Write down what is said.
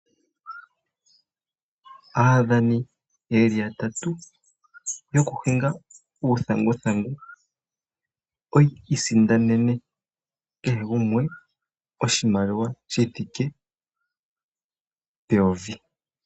Aadhani yeli yatatu yokuhinga uuthanguthangu, oyi isindanene kehe gumwe oshimaliwa shithike peyovi.